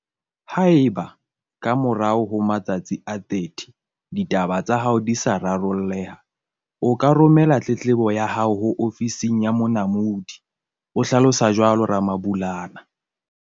"Haeba, ka morao ho matsatsi a 30, ditaba tsa hao di sa raro lleha, o ka romela tletlebo ya hao ho Ofising ya Monamodi" o hlalosa jwalo Ramabulana.